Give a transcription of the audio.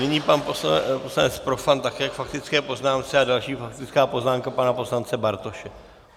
Nyní pan poslanec Profant také k faktické poznámce a další faktická poznámka pana poslance Bartoše.